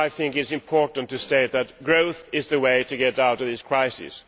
It is important to state that growth is the way to get out of this crisis.